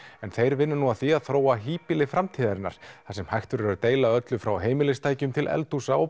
en þeir vinna nú að því að þróa híbýli framtíðarinnar þar sem hægt verður að deila öllu frá heimilistækjum til eldhúsa og